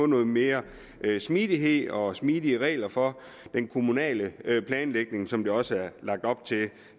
noget mere smidighed og mere smidige regler for den kommunale planlægning som der også er lagt op til